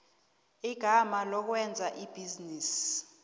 igama lokwenza ibhizinisi